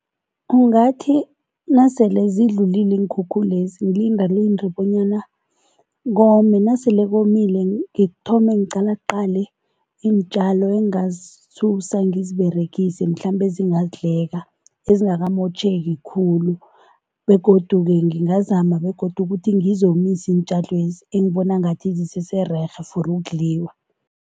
Kungathi nasele zidlulile iinkhukhulezi ngilindalinde bonyana kome, nasele komile ngithome ngiqalaqale iintjalo engazisusa ngiziberegise mhlambe ezingadleka, ezingakamotjheki khulu begodu-ke ngingazama begodu ukuthi ngizomise iintjalwezi engibona ngathi zisesererhe for ukudliwa.